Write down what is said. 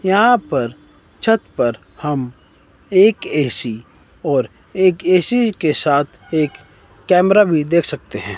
यहां पर छत पर हम एक ए_सी और एक ए_सी के साथ एक कैमरा भी देख सकते हैं।